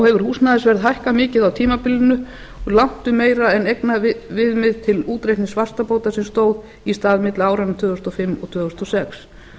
hefur húsnæðisverð hækkað mikið á tímabilinu og langtum meira en eignaviðmið til útreiknings vaxtabóta sem stóð í stað milli áranna tvö þúsund og fimm og tvö þúsund og sex